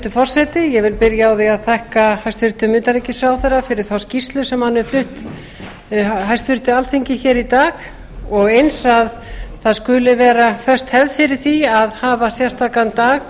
hæstvirtur forseti ég vil byrja á því að þakka hæstvirtum utanríkisráðherra fyrir þá skýrslu sem hann flutti hæstvirt alþingi hér í dag og eins að það skuli vera föst hefð fyrir því að hafa sérstakan dag